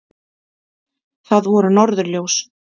Það voru norðurljós!